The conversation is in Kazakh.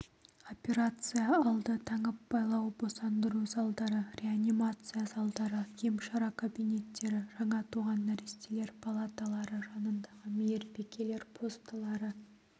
операция алды таңып-байлау босандыру залдары реанимация залдары емшара кабинеттері жаңа туған нәрестелер палаталары жанындағы мейірбикелер постылары